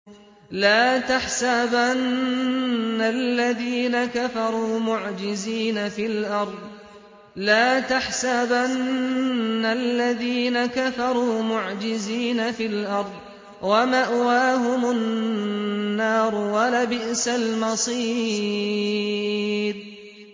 لَا تَحْسَبَنَّ الَّذِينَ كَفَرُوا مُعْجِزِينَ فِي الْأَرْضِ ۚ وَمَأْوَاهُمُ النَّارُ ۖ وَلَبِئْسَ الْمَصِيرُ